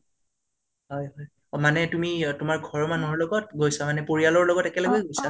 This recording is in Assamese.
মানে তুমি তোমাৰ ঘৰৰ মানুহৰ লগত গৈছা মানে পৰিয়ালৰ লগত একেলগে গৈছা